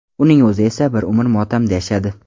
Uning o‘zi esa bir umr motamda yashadi.